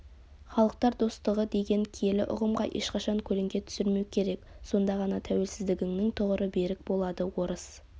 халықтар достығы деген киелі ұғымға ешқашан көлеңке түсірмеу керек сонда ғана тәуелсіздігіңнің тұғыры берік болады орыс